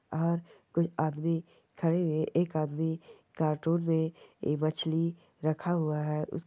और कुछ आदमी खड़े हुए एक आदमी कार्टून मे एक मछली रखा हुआ है उस --